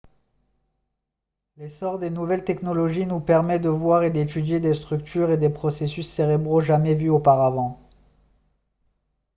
l'essor des nouvelles technologies nous permet de voir et d'étudier des structures et des processus cérébraux jamais vus auparavant